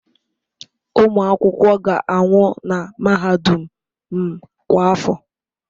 Ụmụ akwụkwọ ga-anwụ na mahadum m kwa afọ.